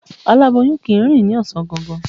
Aláboyun kì í rìn ní ọ̀sán gangan.